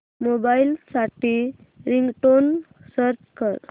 mobile साठी ringtone search कर